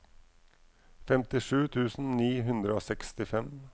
femtisju tusen ni hundre og sekstifem